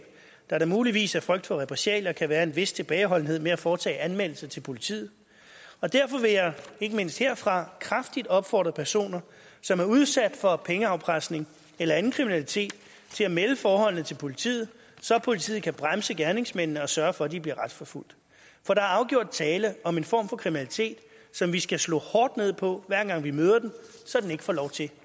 da der muligvis af frygt for repressalier kan være en vis tilbageholdenhed med at foretage anmeldelse til politiet og derfor vil jeg ikke mindst herfra kraftigt opfordre personer som er udsat for pengeafpresning eller anden kriminalitet til at melde forholdet til politiet så politiet kan bremse gerningsmændene og sørge for at de bliver retsforfulgt for der er afgjort tale om en form for kriminalitet som vi skal slå hårdt ned på hver gang vi møder den så den ikke får lov til